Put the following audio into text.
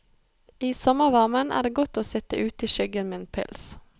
I sommervarmen er det godt å sitt ute i skyggen med en pils.